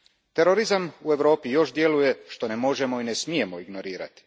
Terorizam u Europi još djeluje, što ne možemo i ne smijemo ignorirati.